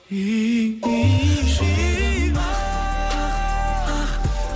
жүрегім ақ ақ ақ